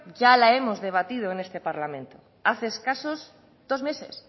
ya la hemos debatido en este parlamento hace escasos dos meses